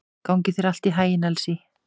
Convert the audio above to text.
Gangi þér allt í haginn, Elsý.